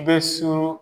Bɛ surun